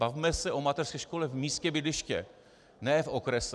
Bavme se o mateřské škole v místě bydliště, ne v okrese.